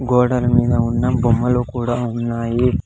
గోడల మీద ఉన్న బొమ్మలు కూడా ఉన్నాయి.